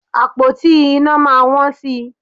Àpótí iná máa wọ́n sí i